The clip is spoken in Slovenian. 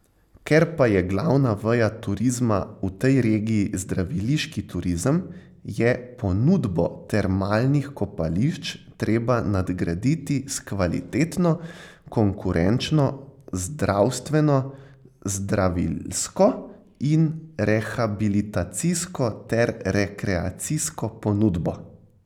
Ker pa je glavna veja turizma v tej regiji zdraviliški turizem, je ponudbo termalnih kopališč treba nadgraditi s kvalitetno, konkurenčno zdravstveno, zdravilsko in rehabilitacijsko ter rekreacijsko ponudbo.